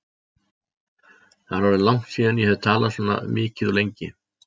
Það er orðið langt síðan ég hef talað svona mikið og lengi.